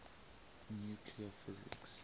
nuclear physics